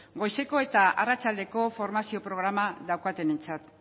goizeko eta arratsaldeko formazio programa daukatenentzat